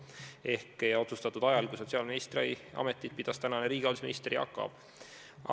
See sai otsustatud ajal, kui sotsiaalministri ametit pidas praegune riigihalduse minister Jaak Aab.